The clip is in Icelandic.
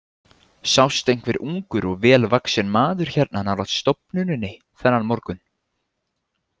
Sást einhver ungur og vel vaxinn maður hérna nálægt stofnuninni þennan morgun?